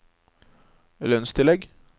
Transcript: lønnstillegg